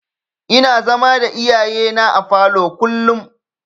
Ina zama da iyayena a falo kullum.